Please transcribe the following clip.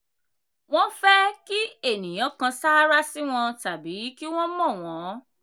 wọ́n fẹ́ kí ènìyàn kan sárá sí wọn tàbí kí ènìyàn mọ̀ wọ́n